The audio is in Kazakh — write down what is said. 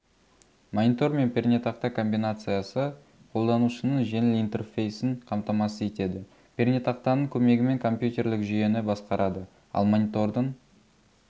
монитор мен пернетақта комбинациясы қолданушының жеңіл интерфейсін қамтамасыз етеді пернетақтаның көмегімен компьютерлік жүйені басқарады ал монитордың